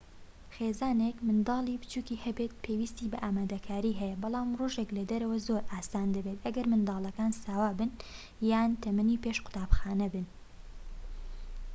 خێزانێك منداڵی بچوکی هەبێت پێویستی بە ئامادەکاری هەیە بەڵام ڕۆژێك لە دەرەوە زۆر ئاسان دەبێت ئەگەر منداڵەکان ساوا بن یان تەمەنی پێش قوتابخانە بن